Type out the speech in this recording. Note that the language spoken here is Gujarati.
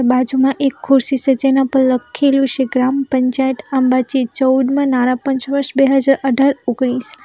બાજુમાં એક ખુરશી સે જેના પર લખેલું છે ગ્રામ પંચાયત અંબાજી ચૌદ માં નાણાપંચ વર્ષ બે હજાર અઢાર ઓગણીસ.